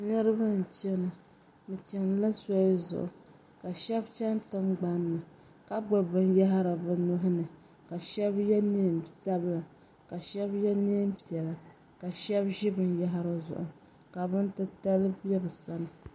niriba n-chana bɛ chani la soli zuɣu ka shɛba chani tiŋgbani ni ka gbubi binyɛhiri bɛ nuhi ni ka shɛba ye neen' sabila ka shɛba ye neen' piɛla ka shɛba ʒi binyɛhiri zuɣu ka bini titali be bɛ sani.